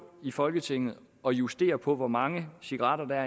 i folketinget og justere på hvor mange cigaretter der